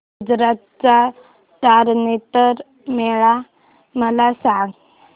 गुजरात चा तारनेतर मेळा मला सांग